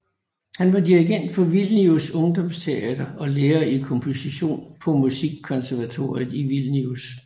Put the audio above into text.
Han var dirigent for Vilnius Ungdomsteater og er lærer i komposition på Musikkonservatoriet I Vilnius